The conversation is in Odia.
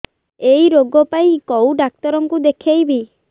ଏଇ ରୋଗ ପାଇଁ କଉ ଡ଼ାକ୍ତର ଙ୍କୁ ଦେଖେଇବି